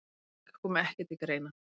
Frávik komi ekki til greina.